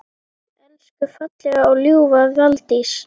Elsku fallega og ljúfa Valdís!